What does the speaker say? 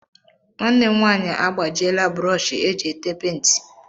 Nwanne m nwaanyị agbajiela brọọshị eji ete penti.